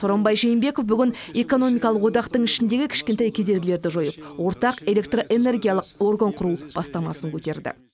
сооронбой жээнбеков бүгін экономикалық одақтың ішіндегі кішкентай кедергілерді жойып ортақ электроэнергиялық орган құру бастамасын көтерді